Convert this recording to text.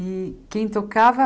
E quem tocava?